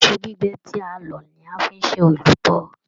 Iṣu gbígbẹ́ ti a lọ ní a fí n ṣe èlùbọ́.